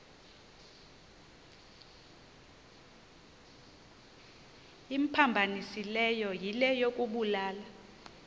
imphambanisileyo yile yokubulala